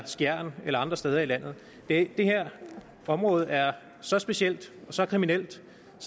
skjern eller andre steder i landet det her område er så specielt og så kriminelt